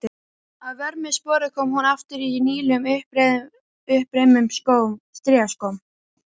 Að vörmu spori kom hún aftur í nýlegum, uppreimuðum strigaskóm.